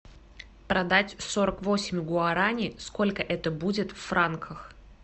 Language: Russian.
продать сорок восемь гуарани сколько это будет в франках